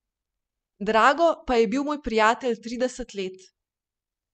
Drago pa je bil moj prijatelj trideset let.